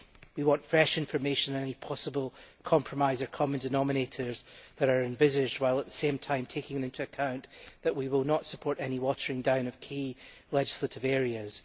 We want fresh information and any possible compromise or common denominators that are envisaged while at the same time taking into account the fact that we will not support any watering down of key legislative areas.